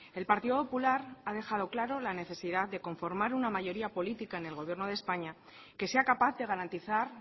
el partido popular ha dejado claro la necesidad de conformar una mayoría política en el gobierno de españa que sea capaz de garantizar